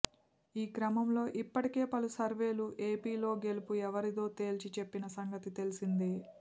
ఈ క్రమంలో ఇప్పటికే పలు సర్వేలు ఏపీలో గెలుపు ఎవరిదో తేల్చి చెప్పిన సంగతి తెలిసిందే